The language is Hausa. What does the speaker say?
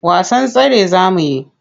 Wasan tsere za mu yi?